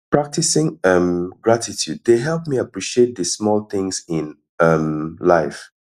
practicing um gratitude dey help me appreciate the small things in um life